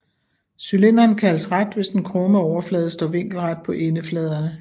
Cylinderen kaldes ret hvis den krumme overflade står vinkelret på endefladerne